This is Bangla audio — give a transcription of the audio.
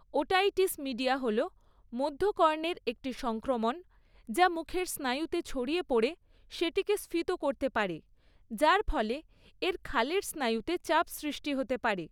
ওটাইটিস মিডিয়া হল মধ্যকর্ণের একটি সংক্রমণ, যা মুখের স্নায়ুতে ছড়িয়ে পড়ে সেটিকে স্ফীত করতে পারে, যার ফলে এর খালের স্নায়ুতে চাপ সৃষ্টি হতে পারে।